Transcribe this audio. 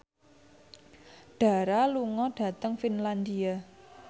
Dara lunga dhateng Finlandia